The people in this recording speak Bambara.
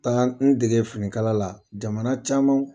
taga n dege finikala la jamana camanw